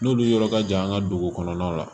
N'olu yɔrɔ ka jan an ka dugu kɔnɔnaw la